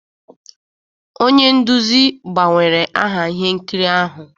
Onye nduzi gbanwere aha ihe nkiri ahụ